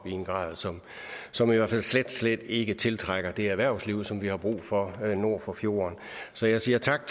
i en grad som som i hvert fald slet slet ikke tiltrækker det erhvervsliv som vi har brug for nord for fjorden så jeg siger tak